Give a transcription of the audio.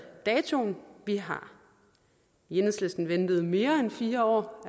datoen vi har i enhedslisten allerede ventet mere end fire år